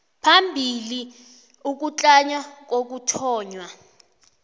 phambili ukutlama kokuthonywa